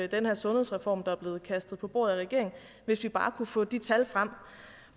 den her sundhedsreform der er blevet kastet på bordet af regeringen hvis vi bare kunne få de tal frem